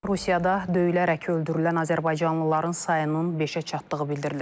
Rusiyada döyülərək öldürülən azərbaycanlıların sayının beşə çatdığı bildirilir.